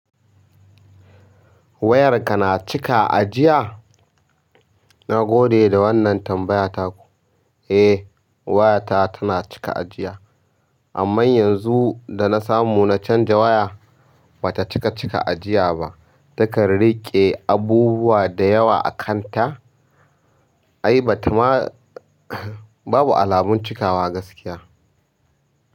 Wayarka na cika ajiya? Na gode da wannan tambaya taku. Eh, wayata tana cika ajiya, amma yanzu da na samu na canza waya, bata cika cika ajiya ba. Takan riƙe abubuwa da yawa akan ta ai bata ma, babu alamun cikawa gaskiya.